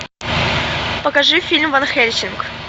покажи фильм ван хельсинг